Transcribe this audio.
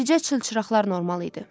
Bircə çılçıraqlar normal idi.